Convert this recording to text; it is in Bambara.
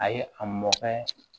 A ye a mɔkɛ